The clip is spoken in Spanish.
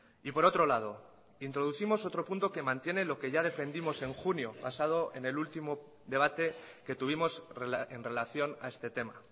y por otro lado introducimos otro punto que mantiene lo que ya defendimos en junio pasado en el último debate que tuvimos en relación a este tema